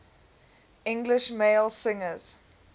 english male singers